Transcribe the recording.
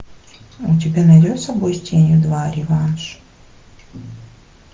у тебя найдется бой с тенью два реванш